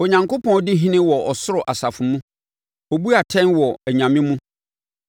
Onyankopɔn di ɔhene wɔ ɔsoro asafo mu; ɔbu atɛn wɔ “anyame” mu.